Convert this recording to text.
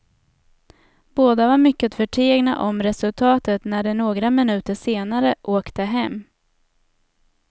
Båda var mycket förtegna om resultatet när de några minuter senare åkte hem.